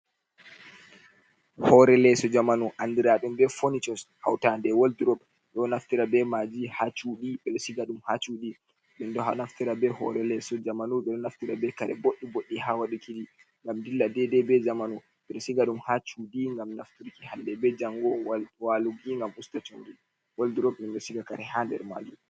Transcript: Hoore leeso jamanu, anndiraaɗum be fonicos, hawtaade e wot-rop, ɗo naftira be maaji haa cuuɗi be ɗo siga ɗum haa cuuɗi. Ɗum ɗo naftira be hoore leeso jamanu, ɗum naftira be kare boɗɗi-boɗɗi haa waɗukiji. ngam dilla deedey be zamanu, ɓe ɗo siga ɗum haa cuuɗi ngam nafturki hannde be janngo, waaluki ngam usta comri. Wot-rop ɗum do siga kare haa nder maajum.